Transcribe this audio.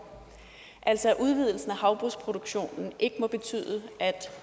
altså at udvidelsen af havbrugsproduktionen ikke må betyde at